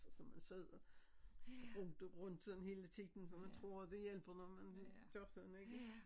Så som man sidder bro det rundt sådan hele tiden for man tror det hjælper når man gør sådan ikke?